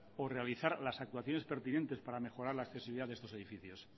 o realizar las actuaciones pertinentes para mejorar la accesibilidad de estos edificios